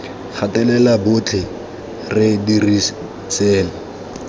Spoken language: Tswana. gatelela botlhe re dira seno